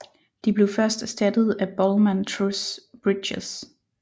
De blev først erstattet af Bollman Truss Bridges